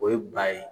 O ye ba ye